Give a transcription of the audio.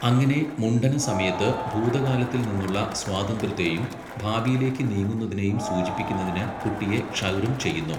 അങ്ങനെ മുണ്ഡന സമയത്ത്, ഭൂതകാലത്തിൽ നിന്നുള്ള സ്വാതന്ത്ര്യത്തെയും ഭാവിയിലേക്ക് നീങ്ങുന്നതിനെയും സൂചിപ്പിക്കുന്നതിന് കുട്ടിയെ ക്ഷൗരം ചെയ്യുന്നു.